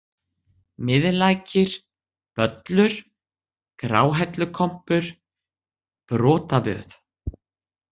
Miðlækir, Böllur, Gráhellukompur, Brotavöð